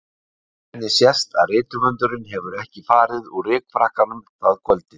Á henni sést að rithöfundurinn hefur ekki farið úr rykfrakkanum það kvöldið.